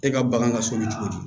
E ka bagan ka sogo ni cogo di